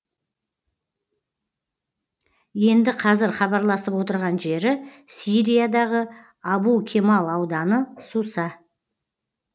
енді қазір хабарласып отырған жері сириядағы абу кемал ауданы суса